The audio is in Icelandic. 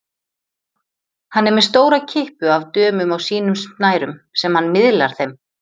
Hann er með stóra kippu af dömum á sínum snærum sem hann miðlar þeim.